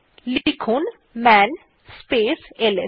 লেখা যাক মান স্পেস এলএস